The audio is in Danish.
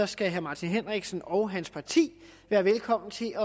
skal herre martin henriksen og hans parti være velkommen til